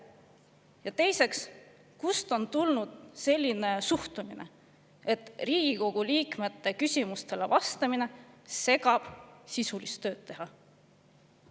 Ja üldse, kust on tulnud selline suhtumine, et Riigikogu liikmete küsimustele vastamine segab sisulise töö tegemist?